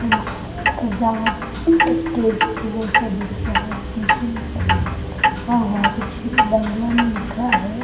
सजावट स्टेज जैसा दिख रहा है । लिखा हुआ है । कुछ बंगला में लिखा है ।